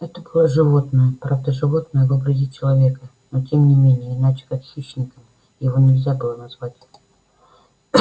это такое животное правда животное в образе человека но тем не менее иначе как хищником его нельзя было назвать